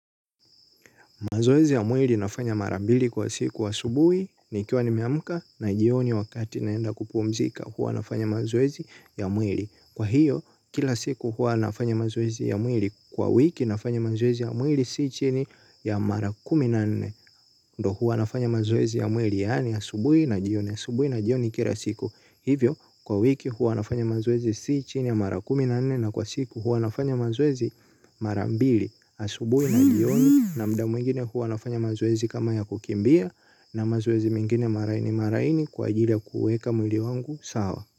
Mazoezi ya mwili nafanya marambili kwa siku asubuhi ni kiwa nimeamka na jioni wakati naenda kupumzika huwa nafanya mazoezi ya mwili. Kwa hiyo kila siku huwa nafanya mazoezi ya mwili. Kwa wiki nafanya mazoezi ya mwili si chini ya mara kumi na nne. Ndo huwa nafanya mazoezi ya mwili yaani asubuhi na jioni asubuhi na jioni kila siku hivyo kwa wiki huwa nafanya mazoezi si chini ya mara kumi na nne na kwa siku huwa nafanya mazoezi mara mbili asubuhi na jioni na muda mwingine huwa nafanya mazoezi kama ya kukimbia na mazoezi mengine malaini malaini kwa ajili ya kuuweka mwili wangu sawa.